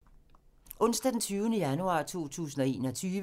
Onsdag d. 20. januar 2021